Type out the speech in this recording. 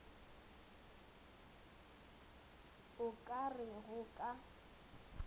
o ka re go ka